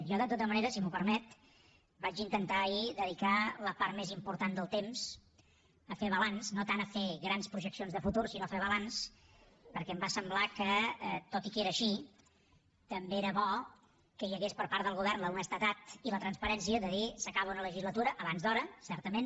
jo de tota manera si m’ho permet vaig intentar ahir dedicar la part més important del temps a fer balanç no tant a fer grans projeccions de futur sinó a fer balanç perquè em va semblar que tot i que era així també era bo que hi hagués per part del govern l’honestedat i la transparència de dir s’acaba una legislatura abans d’hora certament